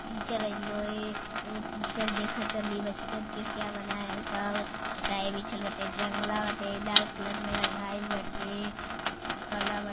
Teacher आइल हये एगो टीचर देख तली बच्चन के क्या बनाए हैं सब चटाई बिछल बाटे जंगला बाटे लाल कलर में रंगाइल बाटे कला बा।